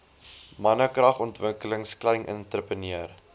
mannekragontwikkeling klein entrepreneur